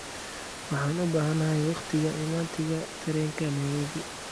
waxaan u baahanahay wakhtiga imaatinka tareenka nairobi